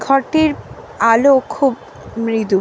ঘর টির আলো খুব মৃদু।